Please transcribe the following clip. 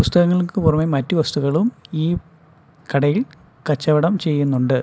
പുസ്തകങ്ങൾക്ക് പുറമെ മറ്റ് വസ്തുക്കളും ഈ കടയിൽ കച്ചവടം ചെയ്യുന്നുണ്ട്.